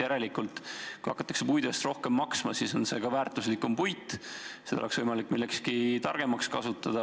Järelikult, kui hakatakse puidu eest rohkem maksma, siis on see ka väärtuslikum puit, seda oleks võimalik millekski targemaks kasutada.